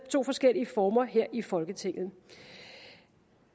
to forskellige former her i folketinget